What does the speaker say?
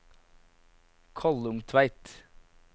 Kollungtveit